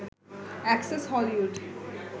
access Hollywood